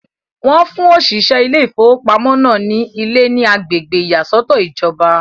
Wọ́n fún òṣìṣẹ́ ilé ìfowópamọ́ náà ní ilé ní agbègbè ìyàsọ́tọ̀ ìjọba.